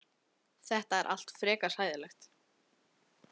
Þetta er allt frekar hræðilegt.